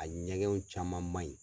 A ɲɛgɛnw caman man ɲi.